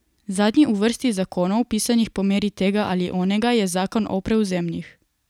Zadnji v vrsti zakonov, pisanih po meri tega ali onega, je zakon o prevzemih.